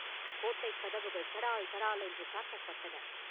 கோட்டைக் கதவுகள் தடால், தடால் என்று சாத்தப்பட்டன.